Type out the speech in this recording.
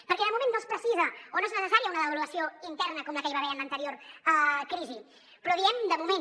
perquè de moment no és necessària una devaluació interna com la que hi va haver en l’anterior crisi però diem de moment